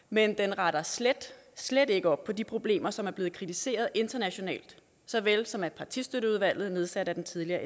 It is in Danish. men den retter slet slet ikke op på de problemer som er blevet kritiseret internationalt såvel som af partistøtteudvalget nedsat af den tidligere